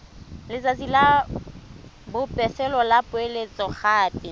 letsatsi la bofelo la poeletsogape